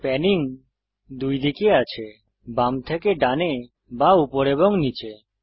panning দুই দিকে আছে বাম থেকে ডানে বা উপর এবং নীচে